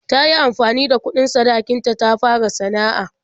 Ta yi amfani da kuɗin sadakin ta ta fara sana'a.